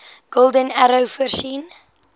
golden arrow voorsien